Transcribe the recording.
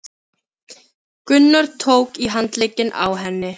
Gunnar tók í handlegginn á henni.